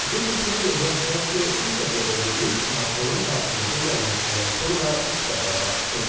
Qeyd etmək yerinə düşər ki, bu səviyyədə görüş Makronun hakimiyyətə gəlməsindən sonra ilk dəfə baş tutur.